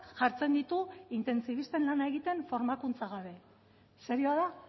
jartzen ditu intentsibisten lana egiten formakuntza gabe serioa da